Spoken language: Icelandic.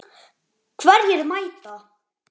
Hverjir mæta?